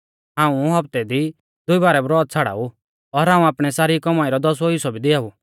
हाऊं हफ्ते दी दुई बारै ब्रौत छ़ाड़ाऊ और हाऊं आपणी सारी कौमाई रौ दसवौ हिस्सौ भी दिआऊ